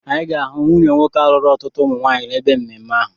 Anyị ga-ahụ nwunye nwoke ahụ lụrụ ọtụtụ umu nwaanyị n'ebe mmemme ahụ.